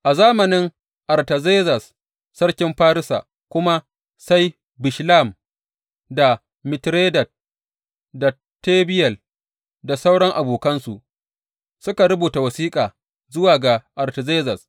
A zamanin Artazerzes sarkin Farisa kuma, sai Bishlam, da Mitredat, da Tabeyel, da sauran abokansu suka rubuta wasiƙa zuwa ga Artazerzes.